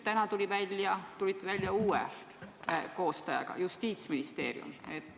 Täna te tulite välja uue koostajaga: Justiitsministeerium.